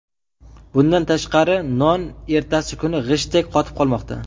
Bundan tashqari, non ertasi kuni g‘ishtdek qotib qolmoqda.